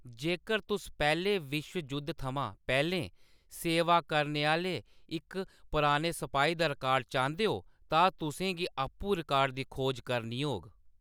जेकर तुस पैह्‌‌ले विश्व जुद्ध थमां पैह्‌‌‌लें सेवा करने आह्‌‌‌ले इक पुराने सपाही दा रिकार्ड चांह्‌‌‌दे ओ, तां तुसें गी आपूं रिकार्ड दी खोज करनी होग।